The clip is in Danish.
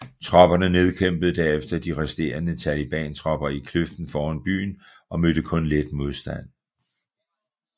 Tropperne nedkæmpede derefter de resterende talibantropper i kløften foran byen og mødte kun let modstand